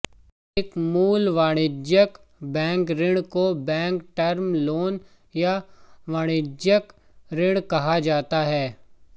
एक मूल वाणिज्यिक बैंक ऋण को बैंक टर्म लोन या वाणिज्यिक ऋण कहा जाता है